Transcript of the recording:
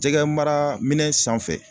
Jɛgɛmara minɛn sanfɛ